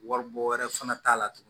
Wari bɔ wɛrɛ fana t'a la tugun